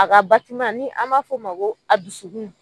A ka ni an b'a f'o ma ko a dusukun